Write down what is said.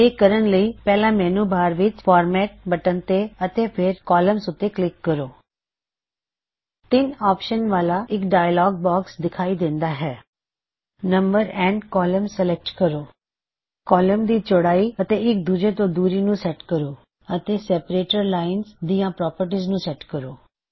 ਇਹ ਕਰਨ ਲਈ ਪਹਿਲਾ ਮੈੱਨੂ ਬਾਰ ਵਿੱਚ ਫਾਰਮੈਟ ਬਟਨ ਤੇ ਅਤੇ ਫੇਰ ਕੌਲਮਜ਼ ਉੱਤੇ ਕਲਿੱਕ ਕਰੋ ਭਿੱਨ ਆਪਸ਼ਨਜ਼ ਵਾਲਾ ਇੱਕ ਡਾਇਅਲੌਗ ਬੌਕਸ ਦਿਖਾਈ ਦੇੱਦਾ ਹੈ ਨੰਬਰ ਔਫ ਕੌਲਮਜ਼ ਸਿਲੈੱਕਟ ਕਰੋ ਕੌਲਮਜ਼ ਦੀ ਚੌੜਾਈ ਅਤੇ ਇਕ ਦੂੱਜੇ ਤੋਂ ਦੂਰੀ ਨੂੰ ਸੈਟ ਕਰੋ ਅਤੇ ਸੈੱਪਰੇਟਰ ਲਾਇਨਜ਼ ਦਿਆਂ ਪ੍ਰੌਪਰਟੀਜ਼ ਨੂੰ ਸੈਟ ਕਰੋ